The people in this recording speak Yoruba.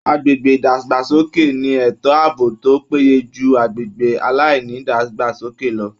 Agbègbè ìdàgbàsókè ni ètò ààbò tó péye ju agbègbè aláìnídàgbàsókè lọ